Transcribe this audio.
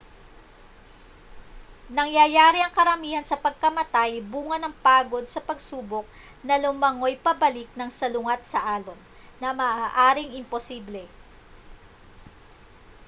nangyayari ang karamihan sa pagkamatay bunga ng pagod sa pagsubok na lumangoy pabalik nang salungat sa alon na maaaring imposible